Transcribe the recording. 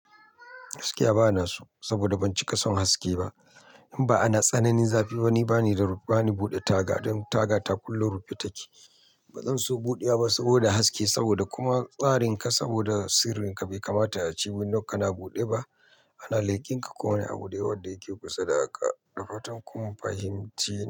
Gaskiya ba na so, saboda ban cika son haske ba. In ba'a na tsananin zafi, ba ni bani buɗe taga. Don taga ta kullum rufe take. Ba zan so buɗewa saboda haske, saboda kuma tsarin ka, saboda sirrin ka bai kamata ya ci binnewar kana buɗe ba. Ana lekin ka ko wane abu da yake kusa da haka. Dafatan kun fahimce ni.